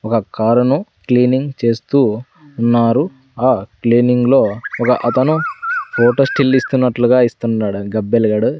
ఒక కారు ను క్లీనింగ్ చేస్తూ ఉన్నారు ఆ క్లీనింగ్ లో ఒక అతను ఫోటో స్టిల్ ఇస్తున్నట్లుగా ఇస్తున్నడండి గబ్బెళుగాడు.